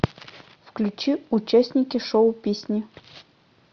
включи участники шоу песни